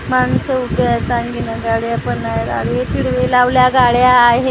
माणसं उभी आहेत काही तिथं गाड्या पण आहेत आडवी-तिडवी लावल्या गाड्या आहेत.